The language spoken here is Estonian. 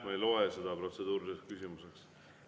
Ma ei loe seda protseduuriliseks küsimuseks.